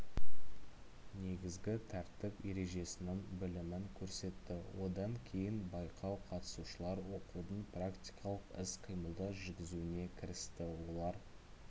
негізгі тәртіп ережесінің білімін көрсетті одан кейін байқау қатысушылар окудың практикалық іс-қимылдар жүргізуіне кірісті олар